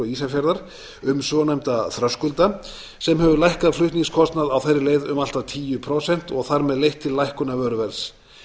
ísafjarðar um svonefnda þröskulda sem hefur lækkað flutningskostnað á þeirri leið um allt að tíu prósent og þar með leitt til lækkunar vöruverðs